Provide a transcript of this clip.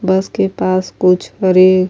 بس کے پاس کچھ برے --